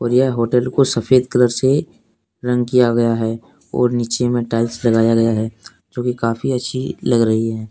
और यह होटल को सफेद कलर से रंग किया गया है और नीचे में टाइल्स लगाया गया है जो कि काफी अच्छी लग रही है।